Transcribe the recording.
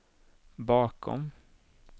bakom